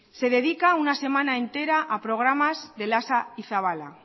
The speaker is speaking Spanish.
se dedican una semana entera a programas de lasa y zabala